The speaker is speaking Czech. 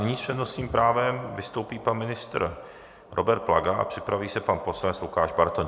Nyní s přednostním právem vystoupí pan ministr Robert Plaga a připraví se pan poslanec Lukáš Bartoň.